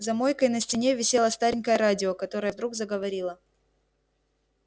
за мойкой на стене висело старенькое радио которое вдруг заговорило